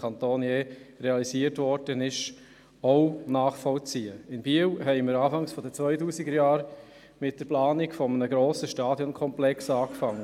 In Biel wurde zu Beginn der 2000er-Jahre mit der Planung eines grossen Stadionkomplexes begonnen.